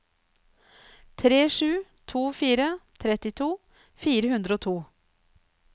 tre sju to fire trettito fire hundre og to